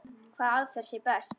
Hvaða aðferð sé best.